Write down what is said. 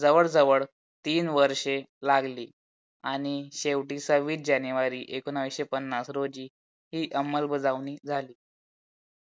जवळ जवळ तीन वर्ष लागली आणि शेवटी सव्वीस जानेवारी एकोणीशे पन्नास रोजी ही अमल बजावणी झाली